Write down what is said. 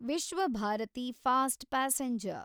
Vishwabharati fast passenger